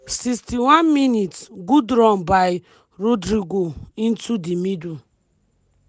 61mins- good run by rodrygo into di middle.